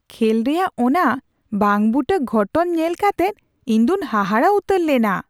ᱠᱷᱮᱹᱞ ᱨᱮᱭᱟᱜ ᱚᱱᱟ ᱵᱟᱝᱼᱵᱩᱴᱟᱹ ᱜᱷᱚᱴᱚᱱ ᱧᱮᱞ ᱠᱟᱛᱮᱫ ᱤᱧ ᱫᱚᱧ ᱦᱟᱦᱟᱲᱟ ᱩᱛᱟᱹᱨ ᱞᱮᱱᱟ ᱾